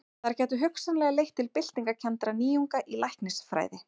Þær gætu hugsanlega leitt til byltingarkenndra nýjunga í læknisfræði.